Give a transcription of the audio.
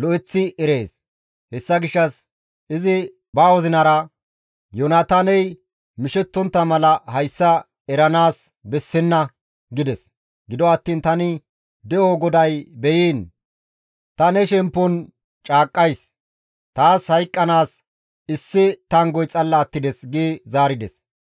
lo7eththi erees, hessa gishshas izi ba wozinara, ‹Yoonataaney mishettontta mala hayssa eranaas bessenna› gides. Gido attiin tani De7o GODAY beyiin! Ta ne shemppon caaqqays! Taas hayqqanaas issi tanggoy xalla attides» gi zaarides.